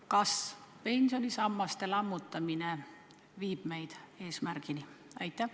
Kas pensionisammaste lammutamine viib meid selle eesmärgini?